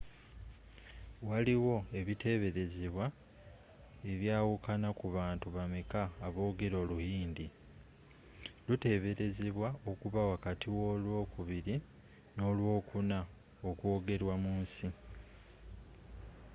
waliwo ebiteberezebwa ebyawukana ku bantu bameka aboogera oluhindi luteberezebwa okuba wakati w'olwokubiri n'olwokuna okwogerwa mu nsi